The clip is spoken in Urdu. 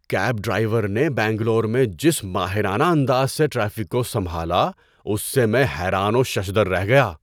کیب ڈرائیو نے بنگلور میں جس ماہرانہ انداز سے ٹریفک کو سنبھالا، اس سے میں حیران و ششدر رہ گیا۔